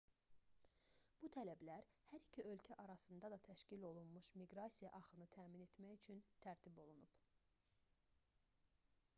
bu tələblər hər iki ölkə arasında da təşkil olunmuş miqrasiya axını təmin etmək üçün tərtib olunub